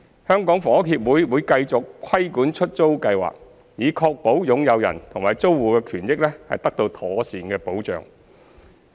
香港房屋協會會繼續規管出租計劃，以確保擁有人和租戶的權益得到妥善保障。